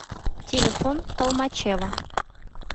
телефон толмачево